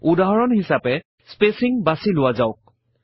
উদাহৰণ হিছাপে স্পেচিং বাছি লোৱা যাওক